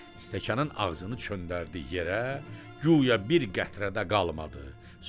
Stəkanın ağzını çöndərdi yerə, guya bir qətrə də qalmadı.